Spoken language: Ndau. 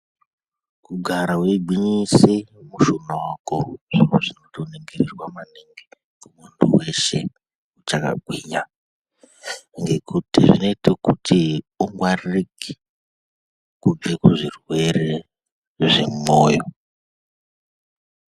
Kugara weigwinyise mushuna wako zviro zvinotokurudzirwa maningi munthu weshe uchakagwinya ngekuti zvinoita kuti ungwaririke kubva kuzvirwere zvemwoyo.